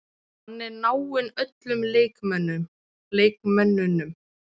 Hann er náinn öllum leikmönnunum.